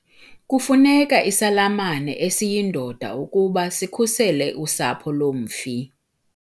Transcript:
Kufuneka isalamane esiyindoda ukuba sikhusele usapho lomfi.